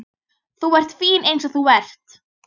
Þú ert fín eins og þú ert.